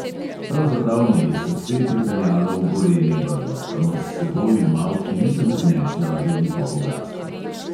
Pravzaprav me je srce pripeljalo v gorenje brdo, kamor s seboj v malhi nisem prinesla veliko bogastva.